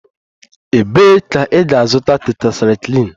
Ebee ka ị ga-azụta tetrasaikilin?